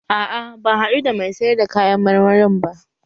A'a ban haɗu da mai sayar da kayan marmarin ba